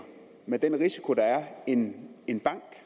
med den risiko der er end en bank